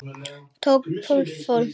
Tók bakföll af hlátri.